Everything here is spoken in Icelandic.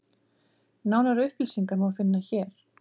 Nánari upplýsingar má finna hér.